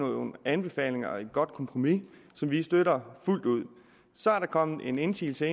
med nogle anbefalinger og et godt kompromis som vi støtter fuldt ud så er der kommet en indsigelse